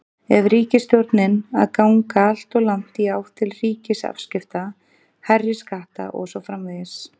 Er ríkisstjórnin að ganga alltof langt í átt til ríkisafskipta, hærri skatta og svo framvegis?